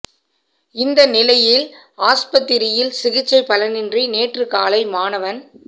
இந்த நிலையில் ஆஸ்பத்தி ரியில் சிகிச்சை பலனின்றி நேற்று காலை மாணவன்